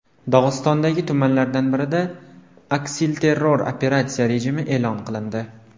Dog‘istondagi tumanlardan birida aksilterror operatsiya rejimi e’lon qilindi.